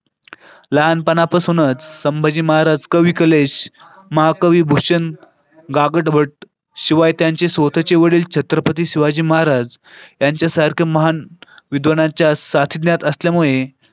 लहानपणापासूनच संभाजी महाराज, कवी कलेश महाकवी भूषण गागाभट्ट शिवाय त्यांचे स्वतःचे वडील छत्रपती शिवाजी महाराज यांच्यासारखे महान विद्वानाच्या सानिध्यात असल्यामुळे.